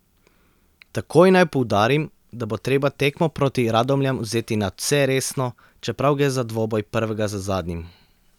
Takoj naj poudarim, da bo treba tekmo proti Radomljam vzeti nadvse resno, čeprav gre za dvoboj prvega z zadnjim.